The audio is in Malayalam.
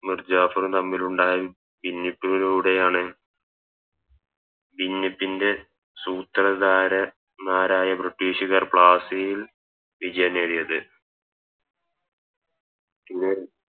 മുർജാഫറും തമ്മിലുണ്ടായ ഭിന്നിപ്പിലൂടെയാണ് ഭിന്നിപ്പിൻറെ സൂത്രധാരന്മാരായ ബ്രിട്ടീഷുകാർ പ്ലാസിയിൽ വിജയം നേടിയത് പിന്നെ